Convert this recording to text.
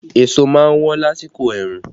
Èso má ń wọ́n lásìkò ẹ̀rùn